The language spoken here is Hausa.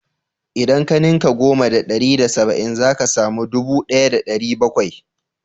Idan ka ninka goma da ɗari da saba'in zaka samu ɗubu ɗaya da ɗari bakwai